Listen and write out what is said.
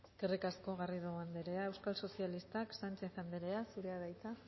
eskerrik asko garrido anderea euskal sozialistak sánchez anderea zurea da hitza